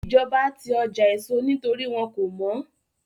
Ìjọba ti ọjà èso nítorí wọ́n kò mọ́